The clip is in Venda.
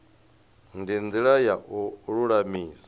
ndi ndila ya u lulamisa